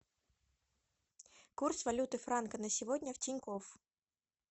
курс валюты франка на сегодня в тинькофф